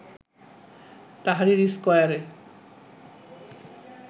Tahrir স্কয়ারে